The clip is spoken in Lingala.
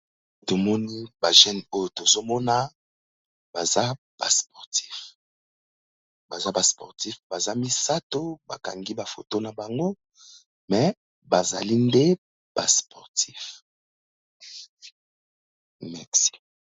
Tomoni ba jeune oyo tozo mona baza ba sportif, baza misato ba kangi ba foto na bango me bazali nde ba sportif.